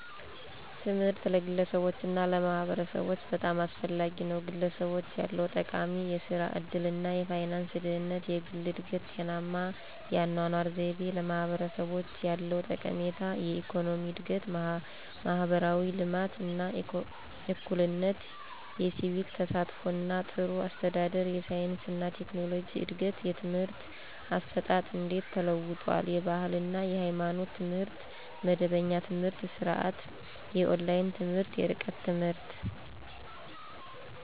ትምህርት ለግለሰቦች እና ለማህበረሰቦች በጣም አስፈላጊ ነው፤ #ለግለሰቦች ያለው ጠቀሜታ -* የሥራ ዕድል እና የፋይናንስ ደህንነት: * የግል እድገት: * ጤናማ የአኗኗር ዘይቤ: #ለማህበረሰቦች ያለው ጠቀሜታ -* የኢኮኖሚ እድገት: * ማህበራዊ ልማት እና እኩልነት: * የሲቪክ ተሳትፎ እና ጥሩ አስተዳደር: * የሳይንስ እና ቴክኖሎጂ እድገት: #የትምህርት አሰጣጥ እንዴት ተለውጧል? * የባህል እና ሃይማኖታዊ ትምህርት * መደበኛ የትምህርት ስርዓት * የኦንላይን ትምህርት *የርቀት ትምህርት.....